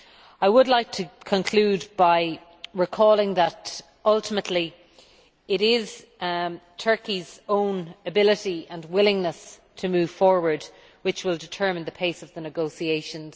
I would like to conclude by recalling that, ultimately, it is Turkey's own ability and willingness to move forward which will determine the pace of the negotiations.